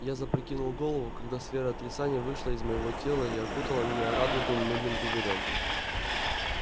я запрокинул голову когда сфера отрицания вышла из моего тела и окутала меня радужным мыльным пузырём